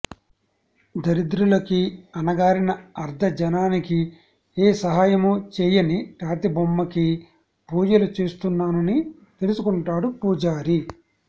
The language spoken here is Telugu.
దరిద్రలకీ అణగారిన ఆర్థ జనానికి ఏ సహాయమూ చేయని రాతిబొమ్మకి పూజలు చేస్తున్నానని తెలుసుకుంటాడు పూజారి